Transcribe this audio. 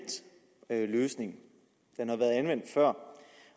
løsning den har været anvendt før